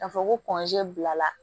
K'a fɔ ko bila la